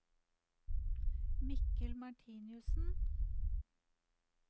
Mikkel Martinussen